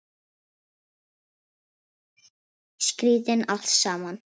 Skrýtið allt saman.